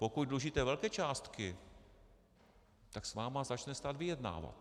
Pokud dlužíte velké částky, tak s vámi začne stát vyjednávat.